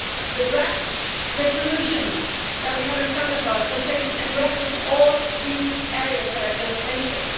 The draft resolution that we have in front of us addresses all the areas that I just mentioned.